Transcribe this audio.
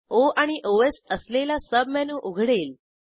ओ आणि ओएस असलेला सबमेनू उघडेल